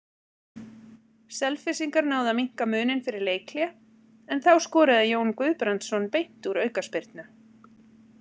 Selfyssingar náðu að minnka muninn fyrir leikhlé en þá skoraði Jón Guðbrandsson beint úr aukaspyrnu.